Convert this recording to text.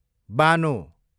Bano